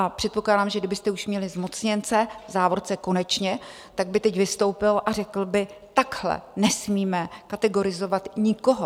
A předpokládám, že kdybyste už měli zmocněnce, v závorce konečně, tak by teď vystoupil a řekl by: takhle nesmíme kategorizovat nikoho.